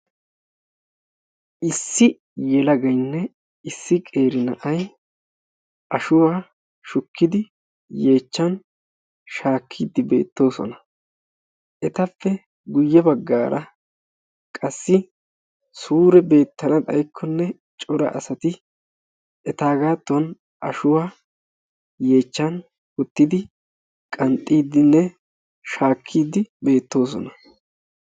Issi yelagaynne issi qeeri na'ay ashshuwaa shukkidi yeechchan shaakkidi beettoosona. etappe ya baggara qassi suure beettana xayikonne cora asati etaagattan ashshuwaa yeechchan uttidi qanxxidinne shaakkidi beettoosona.